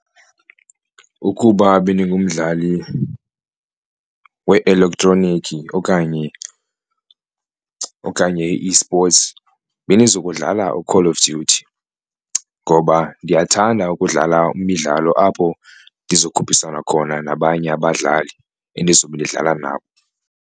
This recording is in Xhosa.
Ukuba bendingumdlali we-elektroniki okanye okanye i-esports bendizo kudlala uCall of Duty, ngoba ndiyathanda ukudlala imidlalo apho ndizokhuphisana khona nabanye abadlali endizobe ndidlala nabo.